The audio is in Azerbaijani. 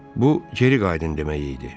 Bu geri qayıdın demək idi.